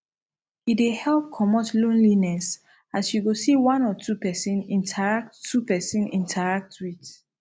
e dey help comot lonliness as yu go see one or two pesin interact two pesin interact wit